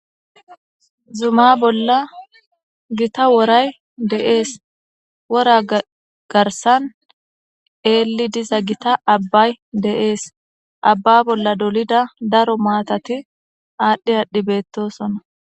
zuma bolla gitta woray de'es wora garsan eelli diza gita abbay de7es abba bolla dolida daro maatati aadhdhi aadhdhi beettosona.